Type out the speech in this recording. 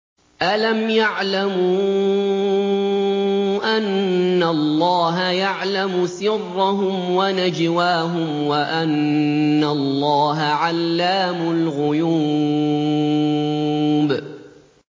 أَلَمْ يَعْلَمُوا أَنَّ اللَّهَ يَعْلَمُ سِرَّهُمْ وَنَجْوَاهُمْ وَأَنَّ اللَّهَ عَلَّامُ الْغُيُوبِ